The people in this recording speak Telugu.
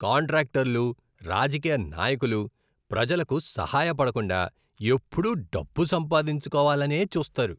కాంట్రాక్టర్లు, రాజకీయ నాయకులు ప్రజలకు సహాయ పడకుండా ఎప్పుడూ డబ్బు సంపాదించుకోవాలనే చూస్తారు.